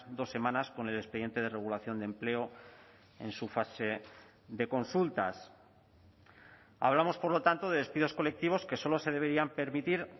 dos semanas con el expediente de regulación de empleo en su fase de consultas hablamos por lo tanto de despidos colectivos que solo se deberían permitir